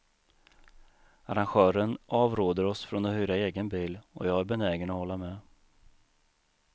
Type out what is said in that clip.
Arrangören avråder oss från att hyra egen bil och jag är benägen att hålla med.